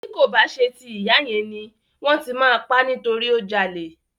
Ti ko ba ṣe ti ìyá yẹn ni, wọn ti ma pa nitori o jalè.